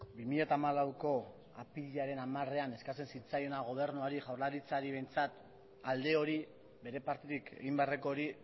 bi mila hamalauko apirilaren hamarean eskatzen zitzaiona gobernuari jaurlaritzari behintzat alde hori bere partetik egin beharreko hori